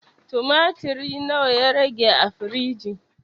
Tumatir na wa ya rage a firiji?